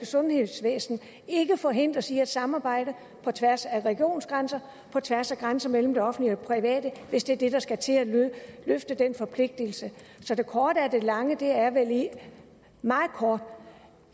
sundhedsvæsen ikke forhindres i at samarbejde på tværs af regionsgrænser og på tværs af grænser mellem det offentlige og private hvis det er det der skal til for at løfte den forpligtelse så det korte af det lange er meget kort